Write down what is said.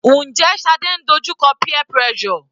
Njẹ́ Shade ń dojú kọ peer pressure?